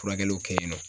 Furakɛliw kɛ yen nɔ